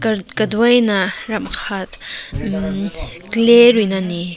kataui na ram ka clay rui na ne.